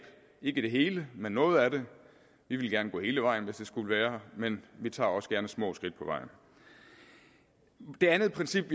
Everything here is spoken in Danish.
ikke det hele men noget af det vi ville gerne gå hele vejen hvis det skulle være men vi tager også gerne små skridt på vejen det andet princip